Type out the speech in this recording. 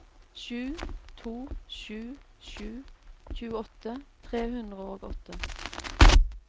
sju to sju sju tjueåtte tre hundre og åtte